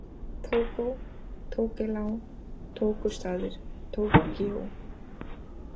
Tógó, Tókelá, Tókustaðir, Tókýó